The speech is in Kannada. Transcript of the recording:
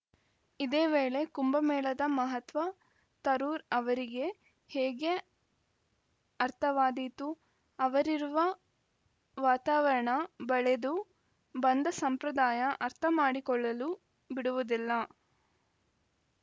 ಇದೇ ವೇಳೆ ಕುಂಭಮೇಳದ ಮಹತ್ವ ತರೂರ್‌ ಅವರಿಗೆ ಹೇಗೆ ಅರ್ಥವಾದೀತು ಅವರಿರುವ ವಾತಾವರಣ ಬೆಳೆದು ಬಂದ ಸಂಪ್ರದಾಯ ಅರ್ಥ ಮಾಡಿಕೊಳ್ಳಲು ಬಿಡುವುದಿಲ್ಲ